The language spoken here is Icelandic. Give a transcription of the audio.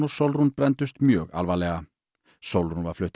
Sólrún brenndust mjög alvarlega Sólrún var flutt